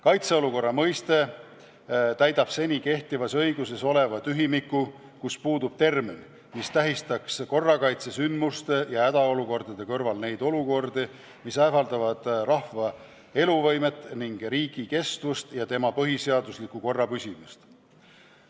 Kaitseolukorra mõiste täidab seni kehtivas õiguses oleva tühimiku, sest puudub termin, mis tähistaks korrakaitsesündmuste ja hädaolukordade kõrval selliseid olukordi, kus ohus on rahva eluvõime ning riigi kestvus ja meie põhiseadusliku korra püsimine.